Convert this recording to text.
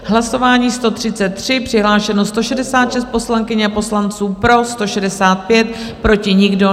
Hlasování 133, přihlášeno 166 poslankyň a poslanců, pro 165, proti nikdo.